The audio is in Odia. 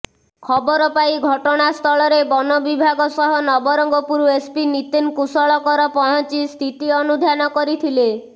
ଖବର ପାଇ ଘଟଣାସ୍ଥଳରେ ବନ ବିଭାଗ ସହ ନବରଙ୍ଗପୁର ଏସ୍ପି ନିତିନ କୁଶଳକର ପହଞ୍ଚି ସ୍ଥିତି ଅନୁଧ୍ୟାନ କରିଥିଲେ